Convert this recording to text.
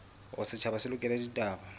hore setjhaba se lekole ditaba